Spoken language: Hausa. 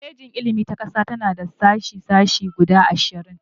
Kwalejin Ilimin ta Ƙasa tana da sashe-sashe guda ashirin